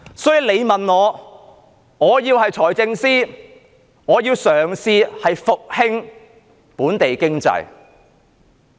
所以，如果我是財政司司長，我會嘗試復興本地經濟。